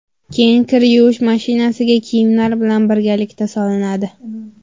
Keyin kir yuvish mashinasiga kiyimlar bilan birgalikda solinadi.